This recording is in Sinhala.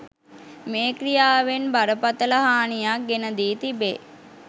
මේ ක්‍රියාවෙන් බරපතල හානියක් ගෙන දී තිබේ